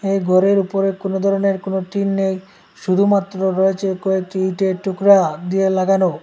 এই ঘরের উপরে কোনো ধরনের কোনো টিন নেই শুধুমাত্র রয়েছে কয়েকটি ইটের টুকরা দিয়ে লাগানো।